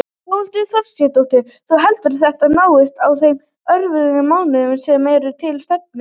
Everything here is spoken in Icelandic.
Þórhildur Þorkelsdóttir: Þú heldur að þetta náist á þeim örfáu mánuðum sem eru til stefnu?